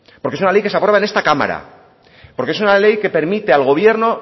porque es una ley que se aprueba en esta cámara porque es una ley que permite al gobierno